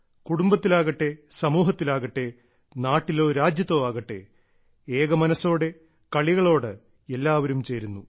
കുടുംബത്തിലാകട്ടെ സമൂഹത്തിലാകട്ടെ നാട്ടിലോ രാജ്യത്തോ ആകട്ടെ ഏകമനസ്സോടെ കളികളോട് എല്ലാവരും ചേരുന്നു